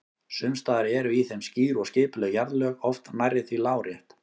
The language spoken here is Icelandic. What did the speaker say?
Sums staðar eru í þeim skýr og skipuleg jarðlög, oft nærri því lárétt.